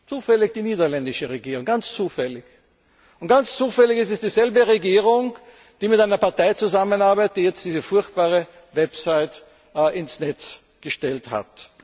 Zufällig die niederländische Regierung. Und ganz zufällig ist es dieselbe Regierung, die mit einer Partei zusammenarbeitet, die jetzt diese furchtbare Website ins Netz gestellt